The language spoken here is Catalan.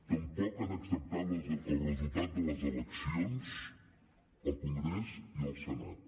tampoc han acceptat el resultat de les eleccions al congrés i al senat